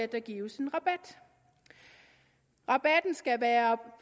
der gives en rabat rabatten skal være